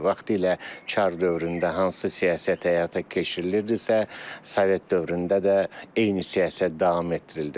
Vaxtilə çar dövründə hansı siyasət həyata keçirilirdisə, Sovet dövründə də eyni siyasət davam etdirildi.